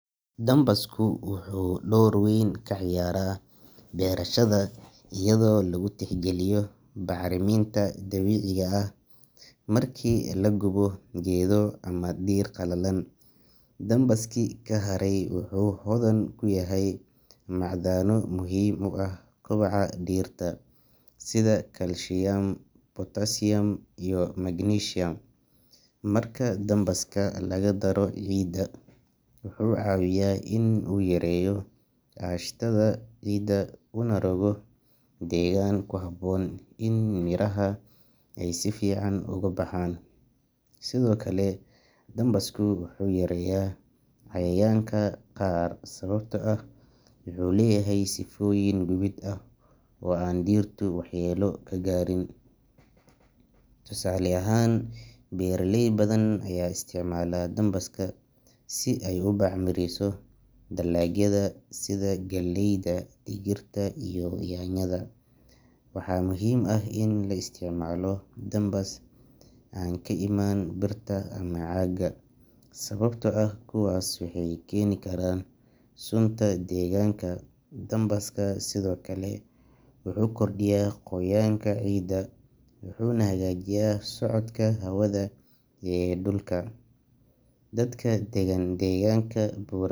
Dambasku wuxuu door weyn ka ciyaaraa berashada iyadoo lagu tixgeliyo bacriminta dabiiciga ah. Markii la gubo geedo ama dhir qalalan, dambaskii ka haray wuxuu hodan ku yahay macdano muhiim u ah kobaca dhirta sida kaalshiyam, potasiyam, iyo magnesium. Marka dambaska lagu daro ciidda, wuxuu caawiyaa in uu yareeyo aashitada ciidda una rogo deegaan ku habboon in miraha ay si fiican ugu baxaan. Sidoo kale, dambasku wuxuu yareeyaa cayayaanka qaar sababtoo ah wuxuu leeyahay sifooyin gubid ah oo aan dhirtu waxyeelo ka gaarin. Tusaale ahaan, beeralay badan ayaa isticmaala dambaska si ay u bacrimiso dalagyada sida galleyda, digirta iyo yaanyada. Waxaa muhiim ah in la isticmaalo dambas aan ka imaan birta ama caagga, sababtoo ah kuwaas waxay keeni karaan sunta deegaanka. Dambaska sidoo kale wuxuu kordhiyaa qoyaanka ciidda wuxuuna hagaajiyaa socodka hawada ee dhulka. Dadka degan deegaanka bural.